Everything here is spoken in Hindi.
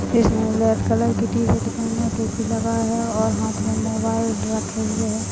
जिसमें रेड कलर की टी- शर्ट पहने टोपी लगा हैं और हाथ में मोबाईल रखे हुये हैं।